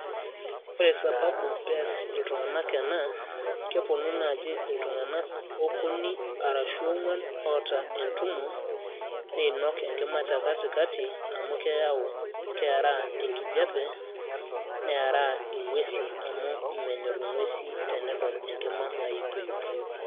ore sababu ees iltunganak ena, kepuonu naaji iltung'anak, okuni, arashu oong'uan, oota entumo, neinok enkima te katikati amu keyau, keera enkijape, neeraa, inguesi amu menyor inguesi tenedol enkima nyupiyup.